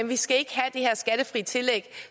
vi skal ikke have det her skattefri tillæg